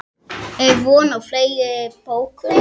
Er von á fleiri bókum?